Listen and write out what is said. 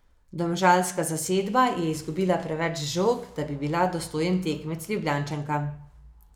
Domžalska zasedba je izgubila preveč žog, da bi bila dostojen tekmec Ljubljančankam.